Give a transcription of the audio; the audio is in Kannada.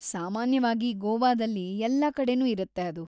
ಸಾಮಾನ್ಯವಾಗಿ ಗೋವಾದಲ್ಲಿ ಎಲ್ಲಾ ಕಡೆನು ಇರತ್ತೆ ಅದು.